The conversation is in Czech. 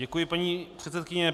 Děkuji, paní předsedkyně.